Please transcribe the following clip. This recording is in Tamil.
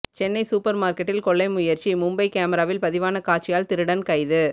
சென்னை சூப்பர் மார்க்கெட்டில் கொள்ளை முயற்சி மும்பை கேமராவில் பதிவான காட்சியால் திருடன் கைது